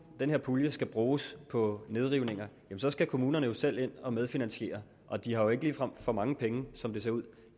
den her pulje skal bruges på nedrivninger så skal kommunerne selv ind at medfinansiere og de har jo ikke ligefrem for mange penge som det ser ud